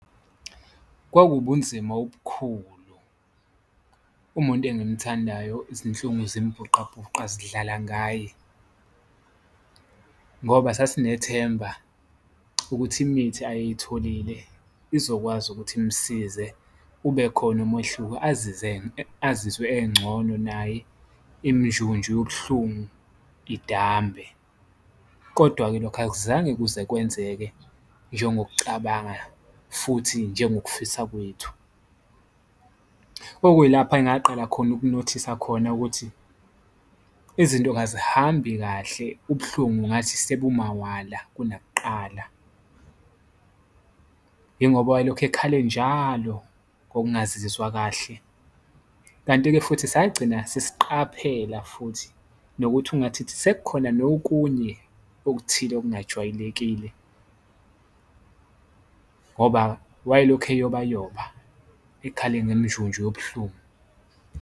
Kwakuwubunzima obukhulu umuntu engimthandayo izinhlungu zimbhuqabhuqa zidlala ngaye, ngoba sasinethemba ukuthi imithi ayeyitholile izokwazi ukuthi imsize ube khona umehluko azizwe engcono naye iminjunju yobuhlungu idambe. Kodwa-ke lokho akuzange kuze kwenzeke njengokucabanga futhi njengokufisa kwethu, okuyilapha engakaqala khona ukunothisa khona, ukuthi izinto kazihambi kahle ubuhlungu ngathi sebumawala kunakuqala. Ingoba wayelokhu ekhale njalo ngokungazizwa kahle, kanti-ke futhi sagcina sesiqaphela futhi nokuthi ungathithi sekukhona nokunye okuthile okungajwayelekile ngoba wayelokhu eyobayoba ekhale ngeminjunju yobuhlungu.